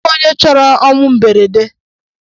O nweghị onye chọrọ ọnwụ mberede.